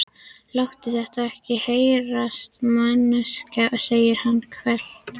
Láttu þetta ekki heyrast manneskja, segir hann hvellt.